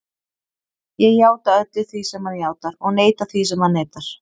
Ég játa öllu því sem hann játar og neita því sem hann neitar.